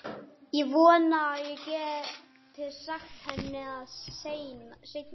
Ég vonaði að ég gæti sagt henni það seinna.